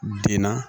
Den na